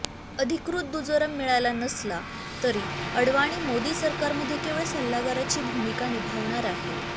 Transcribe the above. अधिकृत दुजोरा मिळाला नसला तरी आडवाणी मोदी सरकारमध्ये केवळ सल्लागाराची भूमिका निभावणार आहेत